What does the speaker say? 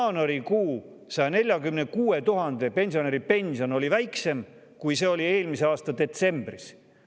Jaanuarikuus oli 146 000 pensionäri pension väiksem, kui see oli eelmise aasta detsembris.